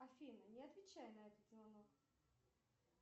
афина не отвечай на этот звонок